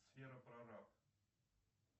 сфера прораб